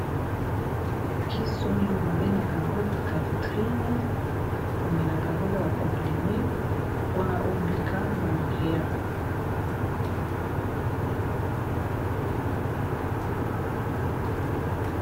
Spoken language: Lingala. Kisi oyo babengaka yango Kaditrine omelaka yango eza ba comprime mpona obika malaria.